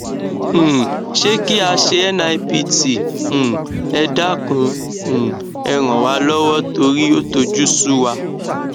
um sé kí a ṣe nipt um ẹ dákun um ẹ ràn wá lọwọ torí ó tojú sú wa